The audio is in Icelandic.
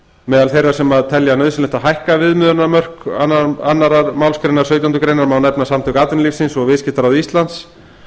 meðal þeirra sem telja nauðsynlegt að hækka viðmiðunarmörk í annarri málsgrein sautjándu grein má nefna samtök atvinnulífsins og viðskiptaráð íslands